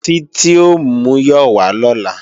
Títí ò múyọ̀ wá lọ́la